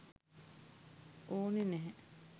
ඕනි නැහැ.